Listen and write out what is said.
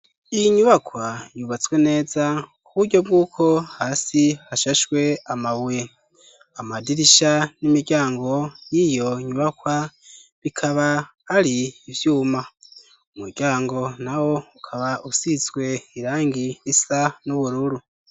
Iyi nyubakwa yubatswe neza ku buryo bw'uko hasi hashashwe amabuye, amadirisha n'imiryango y'iyo nyubakwa bikaba ari ivyuma, umuryango nawo ukaba usizwe irangi risa n'ubururu.